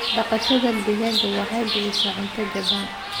Dhaqashada digaaga waxay bixisaa cunto jaban.